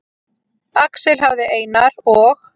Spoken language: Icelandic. Axel hafði Einar og